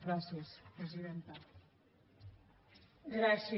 gràcies presidenta